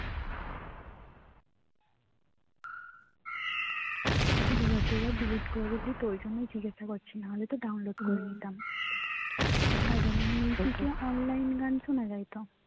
দুবার দুবার delete করলি তাই জিজ্ঞাসা করছি নাহলে তো download করে নিতাম আর এ online গান শোনা যায় তো